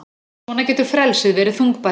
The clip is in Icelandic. Svona getur frelsið verið þungbært.